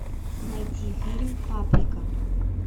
найти фильм паприка